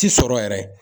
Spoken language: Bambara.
Ti sɔrɔ yɛrɛ